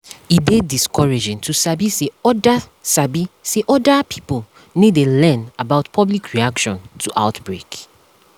e dey discouraging to sabi say other sabi say other pipo no dey learn about public reaction to outbreak